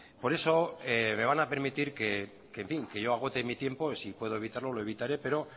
por eso me van a permitir que yo agote mi tiempo si puedo evitarlo lo evitaré pero